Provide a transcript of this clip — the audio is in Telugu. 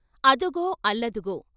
అదుగో అల్లదుగో..